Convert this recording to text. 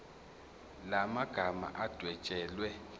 la magama adwetshelwe